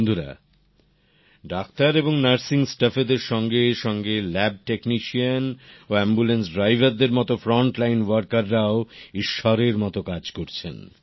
বন্ধুরা ডাক্তার এবং নার্সিং স্টাফেরদের সঙ্গে সঙ্গে ল্যাব টেকনিশিয়ান ও অ্যাম্বুলেন্স ড্রাইভার দের মতো ফ্রন্টলাইন ওয়ার্কাররাও ঈশ্বরের মতো কাজ করছেন